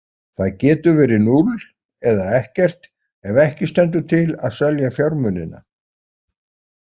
Það getur verið núll eða ekkert ef ekki stendur til að selja fjármunina.